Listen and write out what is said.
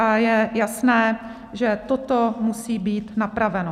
A je jasné, že toto musí být napraveno.